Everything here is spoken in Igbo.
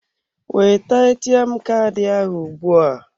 Weta ATM Kaadị ahụ ugbua.